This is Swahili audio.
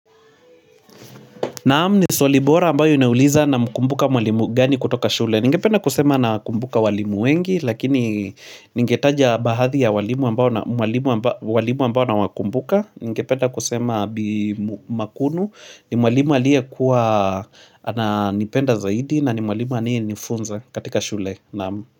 Naam ni swali bora ambayo inauliza namkumbuka mwalimu gani kutoka shule ningependa kusema nakumbuka walimu wengi lakini ninge taja bahathi ya walimu ambao na mwalimu amba walimu ambao nawakumbuka ninge penda kusema Bi Makuno ni mwalimu aliyekuwa ananipenda zaidi na ni mwalimu anie nifunza katika shule Naam.